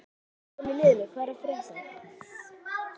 Þetta kemur fram í liðnum hvað er að frétta?